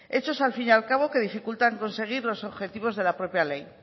hechos al fin y al cabo que dificultan conseguir los objetivos de la propia ley